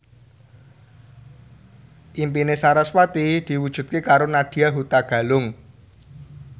impine sarasvati diwujudke karo Nadya Hutagalung